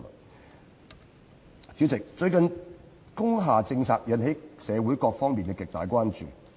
代理主席，最近工廈政策引起社會各方面的極大關注。